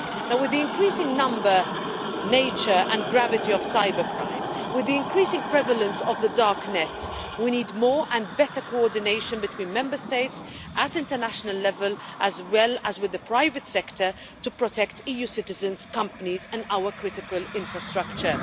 With the increasing number, nature and gravity of cybercrime, with the increasing prevalence of the dark net, we need more and better coordination between Member States at international level, as well as with the private sector, to protect EU citizens, companies and our critical infrastructure.